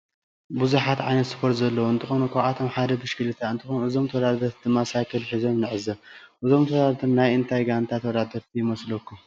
ብዛሓት ዓይነታት ስፓርት ዘለዎ እንትኮኑ ካብአቶም ሓደ ብሽክሊታ እንትኮን እዞም ተወዳደሪቲ ድማ ሳይክል ሒዞም ንዕዘብ እዞም ተወዳደሪቲ ናይ እንታይ ጋንታ ተዋዳደሪቲ ይመስልኩም?